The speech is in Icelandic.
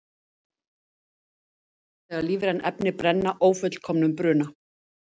Sót myndast þegar lífræn efni brenna ófullkomnum bruna.